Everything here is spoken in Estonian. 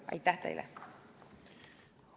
Aitäh teile!